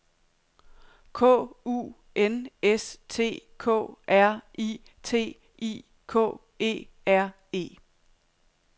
K U N S T K R I T I K E R E